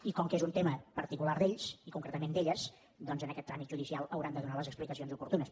i com que és un tema particular d’ells i concretament d’elles doncs en aquest tràmit judicial hauran de donar les explicacions oportunes